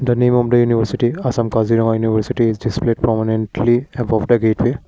the name of the university assam kazira university is displayed prominently above the gateway.